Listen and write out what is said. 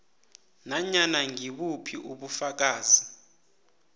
nanyana ngibuphi ubufakazi